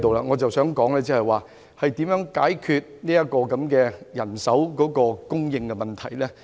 我想說的是，如何解決法官人手供應的問題。